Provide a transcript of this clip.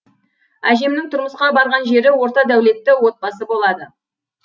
әжемнің тұрмысқа барған жері орта дәулетті отбасы болады